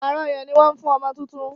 wàrà ọyàn ní wón fún ọmọ títún.